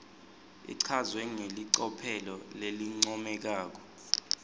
ichazwe ngelicophelo lelincomekako